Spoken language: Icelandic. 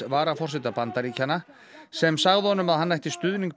varaforseta Bandaríkjanna sem sagði honum að hann ætti stuðning